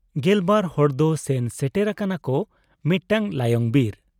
ᱜᱮᱞᱵᱟᱨ ᱦᱚᱲ ᱫᱚ ᱥᱮᱱ ᱥᱮᱴᱮᱨ ᱟᱠᱟᱱᱟ ᱠᱚ ᱢᱤᱫᱴᱟᱹᱝ ᱞᱟᱭᱚᱝ ᱵᱤᱨ ᱾